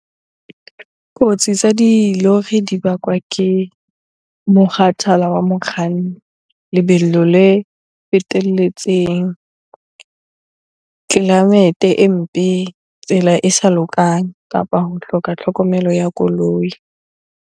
Kotsi tsa dilori di bakwa ke mokgathala wa mokganni. Lebelo le fetelletseng, climate e mpe tsela e sa lokang kapa ho hloka tlhokomelo ya koloi.